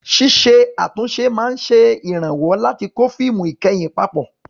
Ṣíṣe àtúnṣe máa ń ṣèrànwọ́ láti kó fíìmù ìkẹyìn papọ̀.